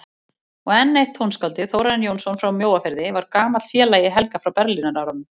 Og enn eitt tónskáldið, Þórarinn Jónsson frá Mjóafirði, var gamall félagi Helga frá Berlínarárunum.